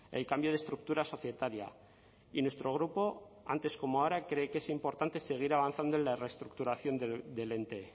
el cambio de estructura societaria y nuestro grupo antes como ahora cree que es importante seguir avanzando en la reestructuración del ente